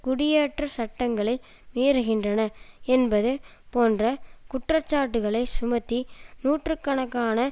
குடியேற்றச் சட்டங்களை மீறுகின்றனர் என்பது போன்ற குற்றச்சாட்டுக்களை சுமத்தி நூற்று கணக்கான